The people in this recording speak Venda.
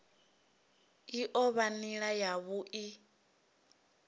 i o vha nila yavhui